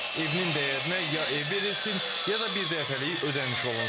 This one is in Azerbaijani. Evinin dəyərinə ya ev verilsin, ya da birdəfəlik ödəniş olunsun.